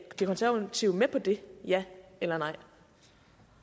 de konservative med på det ja eller